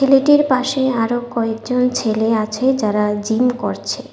ছেলেটির পাশে আরো কয়েকজন ছেলে আছে যারা জিম করছে।